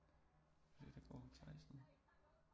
Der går Theis nede